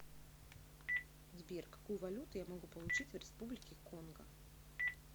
сбер какую валюту я могу получить в республике конго